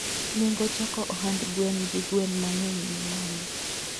Nengo chako ohand gwen gi gwen mangeny ni malo